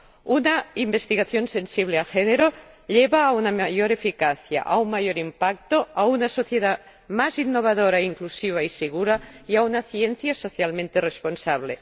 Una investigación sensible al género lleva a una mayor eficacia, a un mayor impacto, a una sociedad más innovadora, inclusiva y segura, y a una ciencia socialmente responsable.